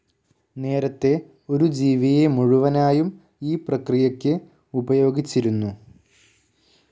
നേരത്തെ ഒരു ജീവിയെ മുഴുവനായും ഈ പ്രക്രിയയ്ക്ക് ഉപയോഗിച്ചിരുന്നു.